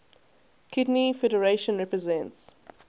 kidney federation represents